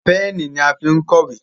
Pẹ́ẹ̀nì ní a fín kọ ìwé.